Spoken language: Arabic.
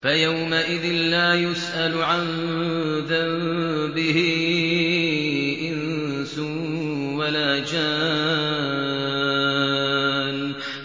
فَيَوْمَئِذٍ لَّا يُسْأَلُ عَن ذَنبِهِ إِنسٌ وَلَا جَانٌّ